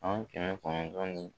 San kɛmɛ kɔnɔntɔn ni